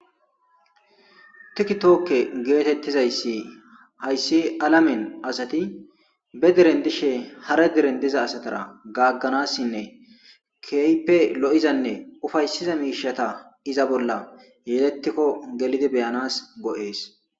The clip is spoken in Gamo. Tiki tookke geetettiza issi ha issi alamen asati ba deren disha hara deren diza asatara gagganassinne ke ype lo'izanne ufayssiza miishata. Iza bolla yeedettikko gelidi beyanas go'ees.